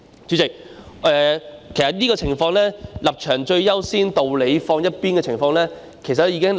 主席，其實這種"立場最優先，道理放一邊"的情況早已出現在立法會。